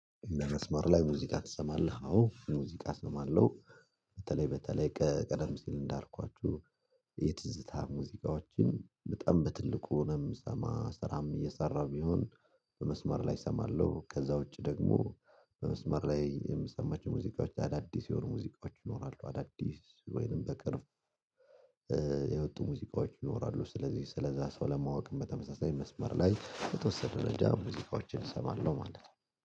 መስመር ላይ ሙዚቃ ትሰማለህ? አዎ ሙዚቃ እሰማለሁ በተለይ በተለይ ቀደም ሲል እንዳልኳችሁ የትዝታ ሙዚቃዎችን በጣም በትልቁ ነው የምሰማ ስራም እየሰራሁ ቢሆን። በመስመር ላይ እሰማለሁ ከዛ ውጪ ደግሞ በመስመር ላይ የምሰማቸው ሙዚቃዎች አዳዲስ የሆኑ ሙዚቃዎች ይኖራሉ አዳዲስ ወይንም በቅርብ የወጡ ሙዚቃዎች ይኖራሉ። ስለዚህ ሰው ለማወቅም በተመሳሳይ መስመር ላይ የተወሰደ ረጅም ሙዚቃዎችን እሰማለሁ ማለት ነው።